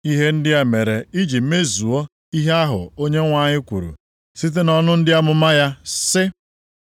Ihe ndị a mere iji mezuo ihe ahụ Onyenwe anyị kwuru site nʼọnụ onye amụma ya sị,